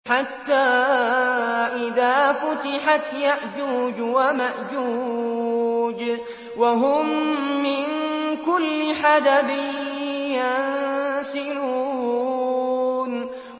حَتَّىٰ إِذَا فُتِحَتْ يَأْجُوجُ وَمَأْجُوجُ وَهُم مِّن كُلِّ حَدَبٍ يَنسِلُونَ